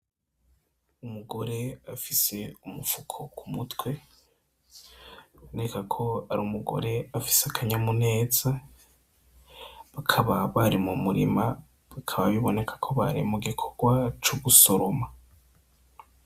Umugore afise umufuko k'umutwe , biboneka ko ar'umugore afise akanyamuneza , bakaba bari mu murima bikaba biboneka ko bari mu gikorwa co gusoroma.